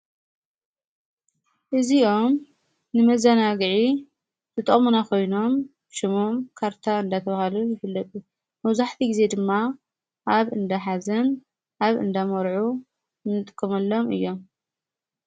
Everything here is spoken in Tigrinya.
እዙዮም ንመዛናግዒ ዝጦምናኾይኖም ሹሙም ካርታ እንደ ተብሃሉ ይፍለቢ መውዙሕፊ ጊዜ ድማ ኣብ እንደ ኃዘም ኣብ እንዳ መርዑ እንጥምሎም እዮም።